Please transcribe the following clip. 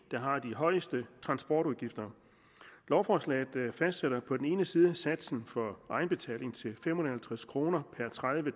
der har de højeste transportudgifter lovforslaget fastsætter på den ene side satsen for egenbetaling til fem hundrede og halvtreds kroner per tredive